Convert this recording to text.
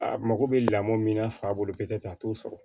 A mago bɛ lamɔ min na fa bolo bɛ kɛ a t'o sɔrɔ